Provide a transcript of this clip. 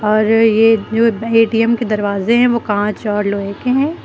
और ये जो ए_टी_एम के दरवाजे हैं वो काँच और लोहे के हैं।